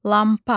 Lampa.